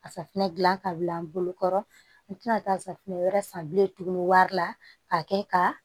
A safunɛ gilan ka bila n bolokɔrɔ n mi kila ka taa safunɛ wɛrɛ san bilen tuguni wari la k'a kɛ ka